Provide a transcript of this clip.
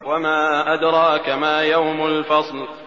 وَمَا أَدْرَاكَ مَا يَوْمُ الْفَصْلِ